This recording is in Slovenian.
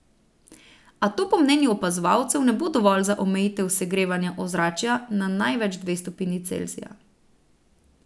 A to po mnenju opazovalcev ne bo dovolj za omejitev segrevanja ozračja na največ dve stopinji Celzija.